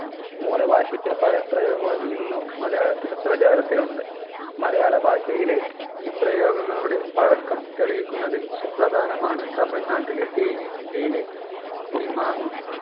മൂല ഭാഷയിലെ പല പ്രയോഗങ്ങളും ഇന്നും മലയാളത്തിൽ പ്രചാരത്തിലുണ്ട് മലയാളഭാഷയിലെ ഈ പ്രയോഗങ്ങളുടെ പഴക്കം തെളിയിക്കുന്നതിൽ സുപ്രധാനമാണ് തമിഴ്നാട്ടിലെ തേനി ജില്ലയിലെ പുളിമാ